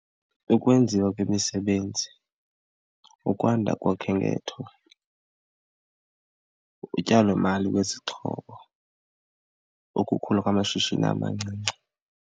Ukwenziwa kwemisebenzi, ukwanda kokhenketho, utyalomali lwezixhobo, ukukhula kwamashishini amancinci.